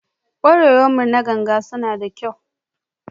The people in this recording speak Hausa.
Ƙwarewar mu na ganga suna da kyau.